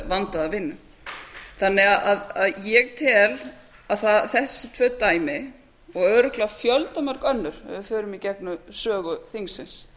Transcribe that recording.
vandaða vinnu þannig að ég tel að þessi tvö dæmi og örugglega fjöldamörg önnur ef við förum í gegnum sögu þingsins